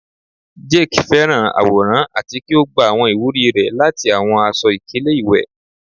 Jake fẹràn aworan ati ki o gba awọn iwuri rẹ lati awọn aṣọ-ikele iwẹ